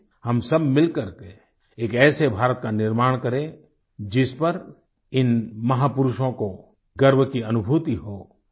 आईये हम सब मिल करके एक ऐसे भारत का निर्माण करें जिस पर इन महापुरुषों को गर्व की अनुभूति हो